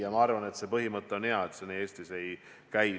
Ja minu arvates see on hea põhimõte, et see nii ei käi.